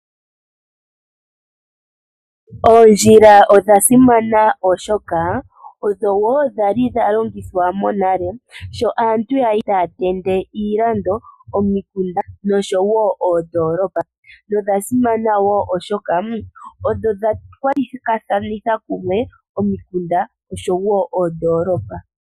Oondjila odhasimana oshoka odho woo dhali dhalongithwa mo nale kaantu ngele taa tende iilando, omikunda nosho woo oondolopa nodhasimana woo oshoka odha kwatakanitha omikunda noondolopa.